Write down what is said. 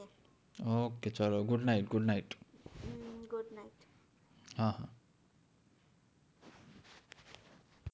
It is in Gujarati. ok ચાલો good night